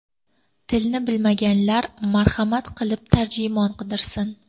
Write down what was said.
Tilni bilmaganlar marhamat qilib tarjimon qidirsin.